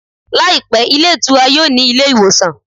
Làìpé, ilé ìtura yóò ní ilé ìwòsàn